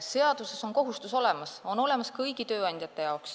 Seaduses on kohustus olemas, see on kõigil tööandjatel.